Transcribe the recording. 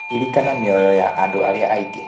Ririkana mioyo ya andũ arĩa angĩ.